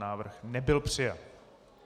Návrh nebyl přijat.